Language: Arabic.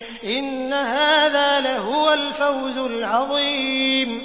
إِنَّ هَٰذَا لَهُوَ الْفَوْزُ الْعَظِيمُ